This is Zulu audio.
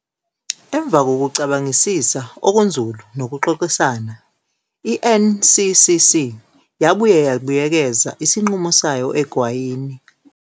Emva kokucabangisisa okunzulu nokuxoxisana, i-NCCC yabuye yabuyekeza isinqumo sayo egwayini.